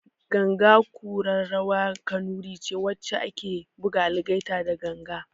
Ganga kura rawar kanuri ce wacce ake buga algaita da ganga